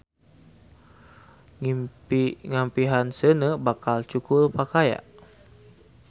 Ngimpi ngampihan seuneu; bakal cukul pakaya.